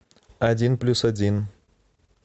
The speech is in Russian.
один плюс один